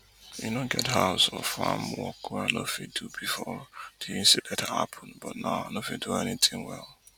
e no get house or farm work wey i no fit do bifor di incident happun but now i no fit do anything well